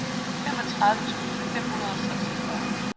femogtredive tusind fem hundrede og seksogfyrre